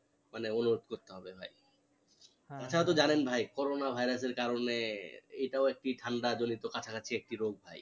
মানে অনুরোধ করতে হবে ভাই হ্যাঁ এটাও তো জানেন ভাই করোনা virus এর কারনে এত একটি ঠান্ডা জনিত কাছাকাছি একটি রোগ ভাই